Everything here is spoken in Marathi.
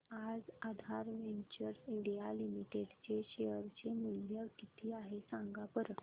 आज आधार वेंचर्स इंडिया लिमिटेड चे शेअर चे मूल्य किती आहे सांगा बरं